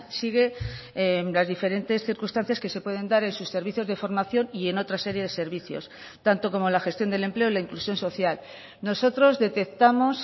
sigue las diferentes circunstancias que se pueden dar en sus servicios de formación y en otra serie de servicios tanto como la gestión del empleo la inclusión social nosotros detectamos